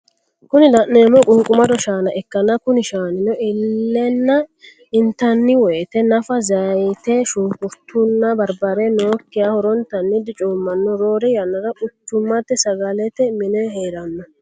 Kuni lanemohu quniqqumado shaana ikana kuni shaninio illena intaniwoyite naffa zayite, shunikurritunna barribrre nokiha horonitani dichomanoho rorre yannara quchumate sagalete mine herano.